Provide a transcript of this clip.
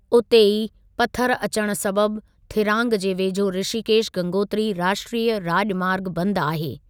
उते ई, पथर अचणु सबबि थिरांग जे वेझो ऋषिकेश गंगोत्री राष्ट्रीय राॼमार्ग बंदि आहे।